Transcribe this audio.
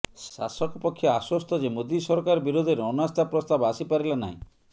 ଶାସକ ପକ୍ଷ ଆଶ୍ୱସ୍ତ ଯେ ମୋଦୀ ସରକାର ବିରୋଧରେ ଅନାସ୍ଥା ପ୍ରସ୍ତାବ ଆସି ପାରିଲା ନାହିଁ